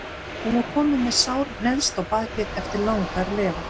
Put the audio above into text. Hún var komin með sár neðst á bakið eftir langar legur.